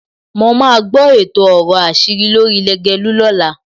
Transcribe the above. Mo máa gbọ́ èto ọ̀rọ̀ àṣírí lórí Lágelú lọ́la.